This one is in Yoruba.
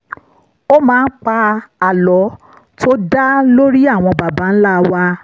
ó máa ń pa àlọ́ tó dá lórí àwọn baba ńlá wa